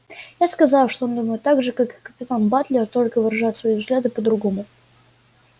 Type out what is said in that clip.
я сказала что он думает так же как и капитан батлер только выражает свои взгляды по-другому